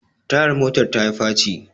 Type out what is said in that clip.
tayar motar ta yi faci